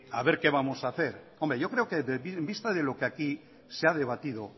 a ver qué vamos a hacer yo creo que en vista de lo que aquí se ha debatido